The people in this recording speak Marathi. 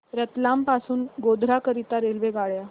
रतलाम पासून गोध्रा करीता रेल्वेगाड्या